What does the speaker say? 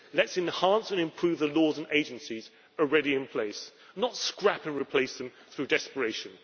Let us enhance and improve the laws and agencies already in place, not scrap and replace them through desperation.